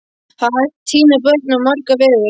Það er hægt að týna börnum á marga vegu.